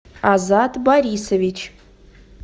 азат борисович